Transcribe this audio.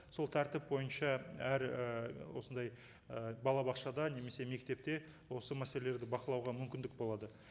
сол тәртіп бойынша әр і осындай і балабақшада немесе мектепте осы мәселелерді бақылауға мүмкіндік болады